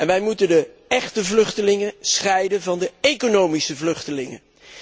En wij moeten de echte vluchtelingen scheiden van de economische vluchtelingen.